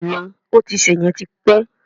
Bẹ́ẹ̀ni, ó ti ṣè yẹn ti pẹ́